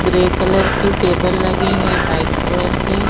grey colour के table लगे हैं व्हाइट कलर के--